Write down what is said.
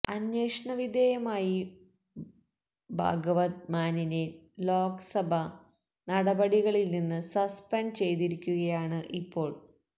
അന്വേഷണവിധേയമായി ഭാഗവത് മാനിനെ ലോക്സഭ നടപടികളില് നിന്ന് സസ്പെന്ഡ് ചെയ്തിരിക്കുകയാണ് ഇപ്പോള്